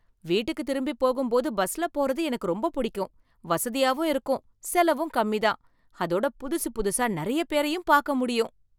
வீட்டுக்கு திரும்பிப் போகும்போது பஸ்ல போறது எனக்கு ரொம்ப பிடிக்கும். வசதியாவும் இருக்கும், செலவும் கம்மி தான், அதோட புதுசு புதுசா நிறைய பேரையும் பார்க்க முடியும்.